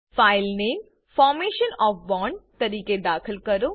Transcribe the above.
file name formation O F bond તરીકે દાખલ કરો